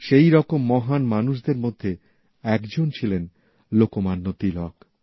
সেইরকম মহান মানুষদের মধ্যে একজন ছিলেন লোকমান্য তিলক